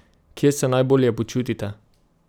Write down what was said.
Kje se najbolje počutite?